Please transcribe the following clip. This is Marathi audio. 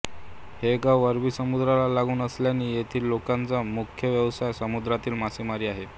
हे गाव अरबी समुद्राला लागून असल्याने येथील लोकांचा मुख्य व्यवसाय समुद्रातील मासेमारी आहे